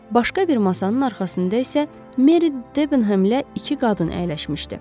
Başqa bir masanın arxasında isə Meri Debenhemlə iki qadın əyləşmişdi.